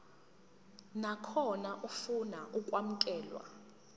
nakhona ofuna ukwamukelwa